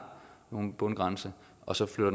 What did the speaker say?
nogen bundgrænse og så flytter